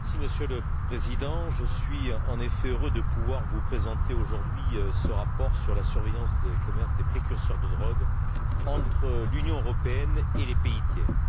Monsieur le Président, je suis en effet heureux de pouvoir vous présenter aujourd'hui ce rapport sur la surveillance du commerce des précurseurs de drogues entre l'Union européenne et les pays tiers.